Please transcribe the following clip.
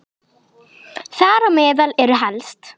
Þar á meðal eru helst